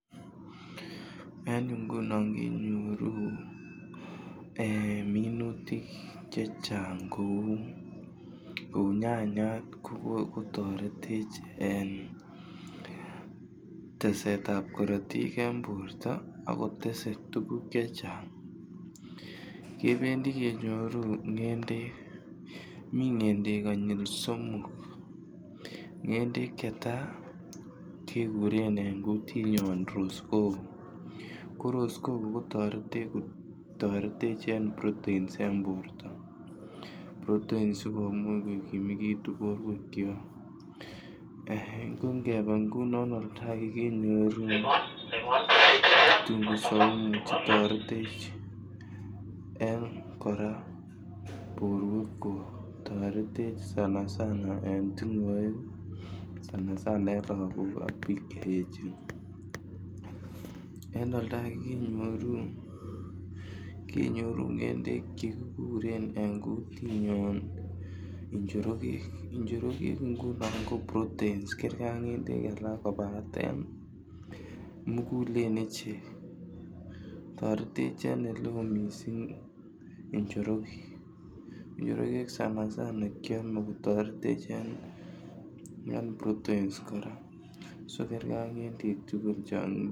En yuu ngunon minutik chechang che uu ee minutik chechang kouu nyanyat ko kigotoretech en teset ab korotik en borto ako tesee tuguk chechang. Kebendi kenyoru ngendek, mii ngendek konyil somok ngendek che taa keguren en gutinyon rosekoko ko rosekoko ko toretech en proteins borto, proteins sikomuch ko kimegitun borwekyok um ko ngebee ngunon olda age ngunon kenyoru kitunguu saumu che toretech en koraa borwekyok toretech sana sana en tingoek sana sana en logok ak biik che echen. En olda age kenyoru kenyoru ngendek che kiguren en kutinyon njorogek, njorogek ngunon ko proteins kergee ak ngendek alak kobaten mugulen ichek toretech en ole oo missing njorogek sana sana kyome kotoretech en proteins koraa so kerge ak ngendek tugul.